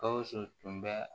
Gawusu tun bɛ